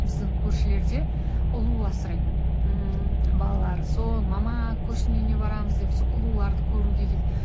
біздің көршілер де ұлу асырайды ммм балалары сол мама көршінің үйіне барамыз деп сол ұлуларды көруге